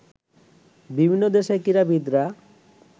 বিভিন্ন দেশের ক্রীড়াবিদরা